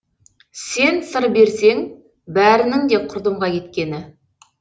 сен сыр берсең бәрінің де құрдымға кеткені